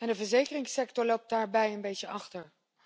De verzekeringssector loopt daarbij een beetje achter.